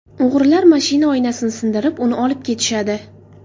O‘g‘rilar mashina oynasini sindirib, uni olib ketishadi.